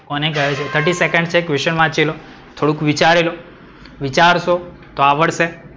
કોને કહે છે? thirty second છે question વાંચી લો, થોડુક વિચારી લો. વિચરશો તો આવડ્શે.